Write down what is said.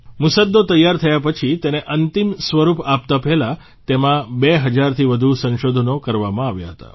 મુસદ્દો તૈયાર થયા પછી તેને અંતિમ સ્વરૂપ આપતાં પહેલાં તેમાં 2 હજારથી વધુ સંશોધનો કરવામાં આવ્યા હતા